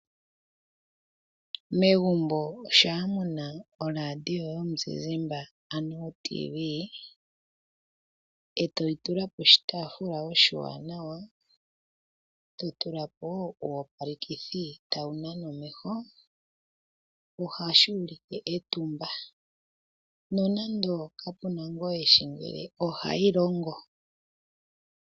Megumbo shampa muna oRadio yomuziizimba ano oTV, etoyi tula poshitaafula oshiwanawa totula po wo uuyopalekithi tawu nana omeho, ohashi ulike etumba nonando kapuna ngu eshi ngele ohayi longo.